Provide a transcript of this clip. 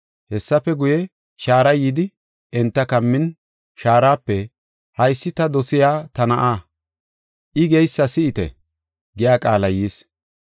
Hessafe guye, shaaray yidi enta kammin shaarape, “Haysi ta dosiya, ta Na7aa, I geysa si7ite” giya qaalay yis.